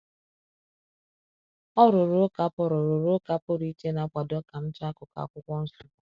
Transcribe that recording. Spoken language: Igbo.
Ọ rụrụ ụka pụrụ rụrụ ụka pụrụ iche na-akwado ka m chọọ akụkụ Akwụkwọ Nsọ.